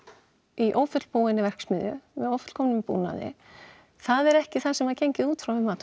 í ófullbúinni verksmiðju með ófullkomnum búnaði það er ekki það sem var gengið út frá við mat á